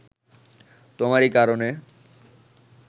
তোমারই কারণে